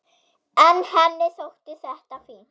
En henni þótti þetta fínt.